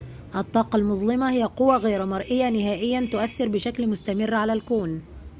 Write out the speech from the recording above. الطاقة المظلمة هي قوى غير مرئية نهائياً تؤثر بشكل مستمر على الكون